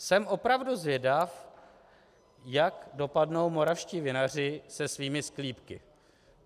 Jsem opravdu zvědav, jak dopadnou moravští vinaři se svými sklípky.